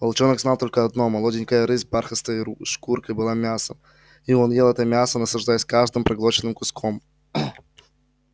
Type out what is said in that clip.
волчонок знал только одно молоденькая рысь с бархатистой шкуркой была мясом и он ел это мясо наслаждаясь каждым проглоченным куском